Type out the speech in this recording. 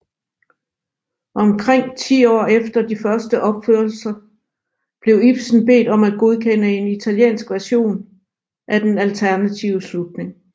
Omkring ti år efter de første opførelser blev Ibsen bedt om at godkende en italiensk version af den alternative slutning